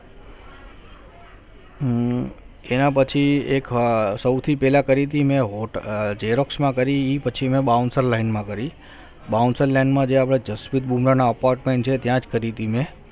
એના પછી એક સૌથી પહેલા ફરીથી મેં xerox માં કરી પછી મેં bouncerline માં કરી બાઉન્સર line માં જે આપણે જસ્મીત બુના નો apartment છે ત્યાં જ કરીતિ મેં